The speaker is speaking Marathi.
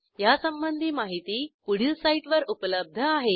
यासंबंधी माहिती पुढील साईटवर उपलब्ध आहे